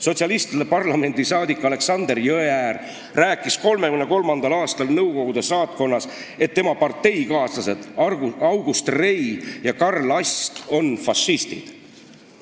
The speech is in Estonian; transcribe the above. Sotsialistide parlamendisaadik Aleksander Jõeäär rääkis 1933. aastal Nõukogude saatkonnas, et tema parteikaaslased August Rei ja Karl Ast on fašistid.